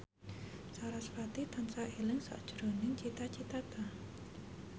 sarasvati tansah eling sakjroning Cita Citata